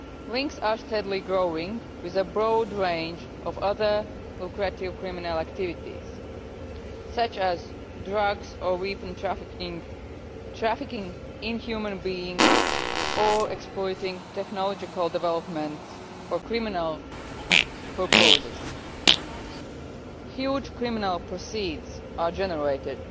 Links are steadily growing with a broad range of other lucrative criminal activities, such as drugs or even trafficking in human beings or exploiting technological developments for criminal purposes. Huge criminal proceeds are generated